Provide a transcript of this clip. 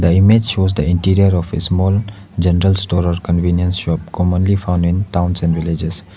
the image shows the interior of a small general store or convenience shop commonly found in towns and villages.